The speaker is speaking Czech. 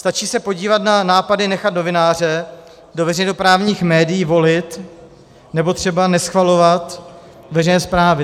Stačí se podívat na nápady nechat novináře do veřejnoprávních médií volit nebo třeba neschvalovat veřejné zprávy.